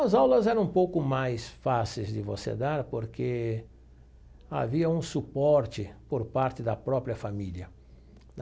As aulas eram um pouco mais fáceis de você dar porque havia um suporte por parte da própria família.